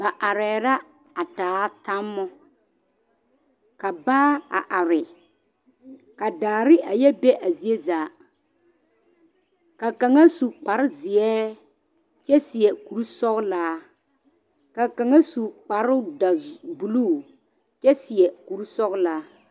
Ba arɛɛ la a taa tammo ka baa a are ka daare a yɛ be a zie zaa ka kaŋa su kparezeɛ kyɛ seɛ kurisɔglaa ka kaŋa su kparedɔ bulu kyɛ seɛ kurisɔglaa.